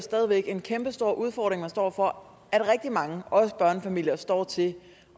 stadig væk en kæmpestor udfordring man står over for at rigtig mange også børnefamilier står til